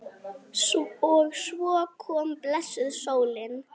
Og svo kom blessuð sólin!